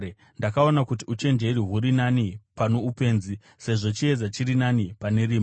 Ndakaona kuti uchenjeri huri nani pano upenzi, sezvo chiedza chiri nani pane rima.